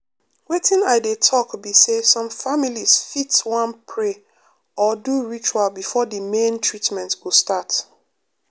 wetin i dey talk be say some families fit wan pray or do ritual before the main treatment go start.